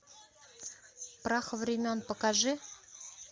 прах времен покажи